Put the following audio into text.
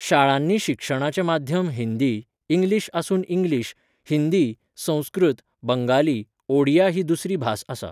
शाळांनी शिक्षणाचें माध्यम हिंदी, इंग्लीश आसून इंग्लीश, हिंदी, संस्कृत, बंगाली, ओडिया ही दुसरी भास आसा.